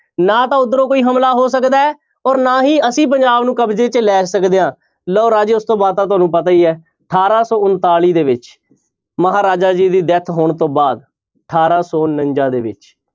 ਨਾ ਤਾਂ ਉਧਰੋਂ ਕੋਈ ਹਮਲਾ ਹੋ ਸਕਦਾ ਹੈ ਔਰ ਨਾ ਹੀ ਅਸੀਂ ਪੰਜਾਬ ਨੂੰ ਕਬਜ਼ੇ ਵਿੱਚ ਲੈ ਸਕਦੇ ਹਾਂ ਲਓ ਰਾਜੇ ਉਸ ਤੋਂ ਬਾਅਦ ਤਾਂ ਤੁਹਾਨੂੰ ਪਤਾ ਹੀ ਹੈ ਅਠਾਰਾਂ ਸੌ ਉਣਤਾਲੀ ਦੇ ਵਿੱਚ ਮਹਾਰਾਜਾ ਜੀ ਦੀ death ਹੋਣ ਤੋਂ ਬਾਅਦ ਅਠਾਰਾਂ ਸੋ ਉਣੰਜਾ ਦੇ ਵਿੱਚ